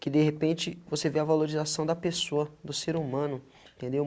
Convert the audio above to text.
Que de repente você vê a valorização da pessoa, do ser humano, entendeu?